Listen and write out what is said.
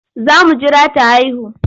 Za mu jira ta haihu.